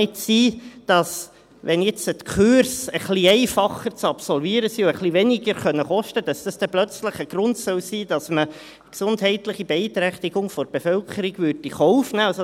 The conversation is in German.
Wenn jetzt die Kurse ein wenig einfacher zu absolvieren sind und etwas weniger kosten können, kann es ja nicht sein, dass dies nun plötzlich ein Grund sein soll, dass man eine gesundheitliche Beeinträchtigung der Bevölkerung in Kauf nehmen würde.